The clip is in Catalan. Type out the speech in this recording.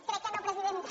crec que no presidenta